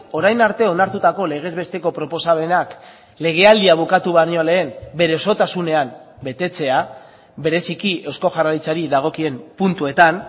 orain arte onartutako legez besteko proposamenak legealdia bukatu baino lehen bere osotasunean betetzea bereziki eusko jaurlaritzari dagokien puntuetan